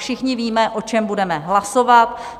Všichni víme, o čem budeme hlasovat.